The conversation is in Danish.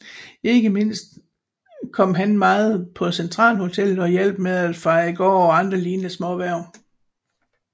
Ikke mindst kom han meget på Centralhotellet og hjalp med at feje gård og andre lignende småhverv